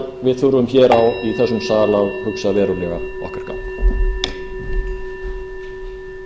við þurfum hér í þessum sal að hugsa verulega okkar gang